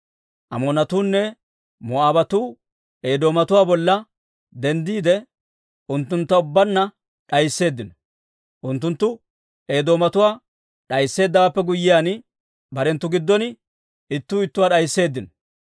Amoonatuunne Moo'aabatuu Eedoomatuwaa bolla denddiide, unttuntta ubbaanna d'aysseeddino. Unttunttu Eedoomatuwaa d'aysseeddawaappe guyyiyaan, barenttu giddon ittuu ittuwaa d'aysseeddino.